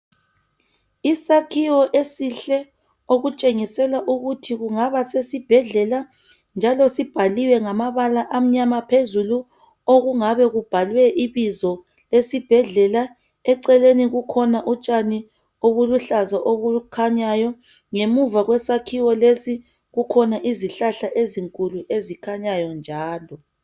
Isakhiwo esihle okutshengisela ukuthi kungaba sesibhedlela njalo sibhaliwe ngamabala amnyama phezulu, okungabe kubhalwe ibizo lesibhedlela. Eceleni kukhona utshani obuluhlaza obukhanyayo, ngemuva kwesakhiwo lesi kukhona izihlahla ezinkulu ezikhanyayo njalo.